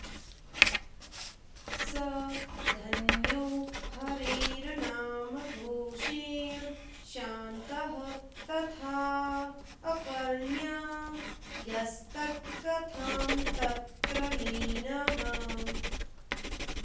स धन्यो हरेर्नामघोषेण शान्तः तथाऽऽकर्ण्य यस्तत्कथां तत्र लीनः